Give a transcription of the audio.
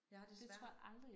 Jeg har desværre